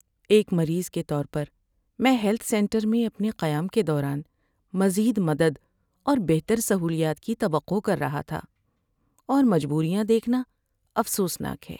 ایک مریض کے طور پر، میں ہیلتھ سینٹر میں اپنے قیام کے دوران مزید مدد اور بہتر سہولیات کی توقع کر رہا تھا، اور مجببوریاں دیکھنا افسوسناک ہے۔